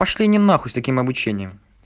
пошли они нахуй с таким обучением